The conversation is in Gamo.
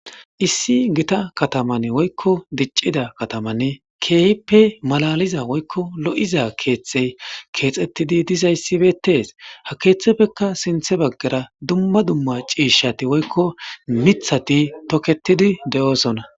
Issi gita kataman woykko diccida katamanne keepe malaliza woykko lo'iza keeththey keexettidi dizayssibeettes ha keeththeppekka sinthe baggara dumma dumma ciishati woykko mithati toketidi de'oosonna.